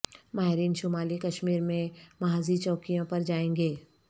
ماہرین شمالی کشمیر میں محاذی چوکیوں پر جائیں گے